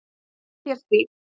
Ég lofa þér því.